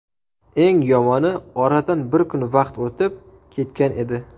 Eng yomoni, oradan bir kun vaqt o‘tib ketgan edi.